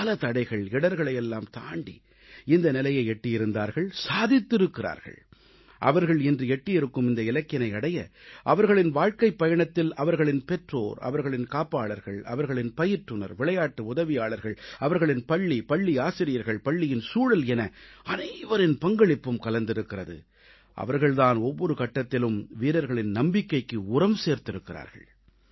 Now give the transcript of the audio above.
பல தடைகள் இடர்களையெல்லாம் தாண்டி இந்த நிலையை எட்டியிருந்தார்கள் சாதித்திருக்கிறார்கள் அவர்கள் இன்று எட்டியிருக்கும் இந்த இலக்கினை அடைய அவர்களின் வாழ்க்கைப் பயணத்தில் அவர்களின் பெற்றோர் அவர்களின் காப்பாளர்கள் அவர்களின் பயிற்றுநர் விளையாட்டு உதவியாளர்கள் அவர்களின் பள்ளி பள்ளி ஆசிரியர்கள் பள்ளியின் சூழல் என அனைவரின் பங்களிப்பும் கலந்திருக்கிறது அவர்கள் தான் ஒவ்வொரு கட்டத்திலும் வீரர்களின் நம்பிக்கைக்கு உரம் சேர்த்திருக்கிறார்கள்